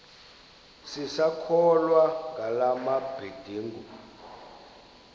sisakholwa ngala mabedengu